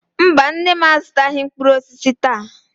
Mba, nne m azụtaghị mkpụrụ osisi taa.